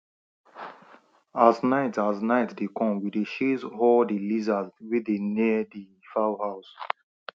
as night as night dey come we dey chase all di lizards wey dey near di fowl house